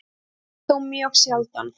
Það yrði þó mjög sjaldan.